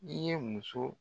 I ye muso